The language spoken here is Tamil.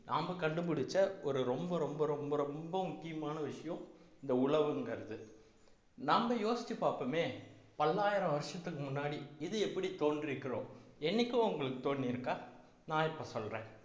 நாம கண்டுபிடிச்ச ஒரு ரொம்ப ரொம்ப ரொம்ப ரொம்ப முக்கியமான விஷயம் இந்த உழவுங்கிறது நம்ம யோசிச்சு பார்ப்போமே பல்லாயிரம் வருஷத்துக்கு முன்னாடி இது எப்படி தோன்றியிருக்கிறோம் என்னைக்கோ உங்களுக்கு தோன்றியிருக்கா நான் இப்ப சொல்றேன்